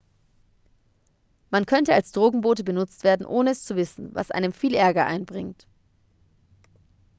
man könnte als drogenbote benutzt werden ohne es zu wissen was einem viel ärger einbringt